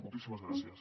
moltíssimes gràcies